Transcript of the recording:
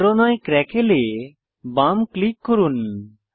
ভরণই crackle এ বাম click করুন